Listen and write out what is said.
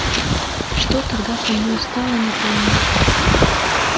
что тогда со мною стало не помню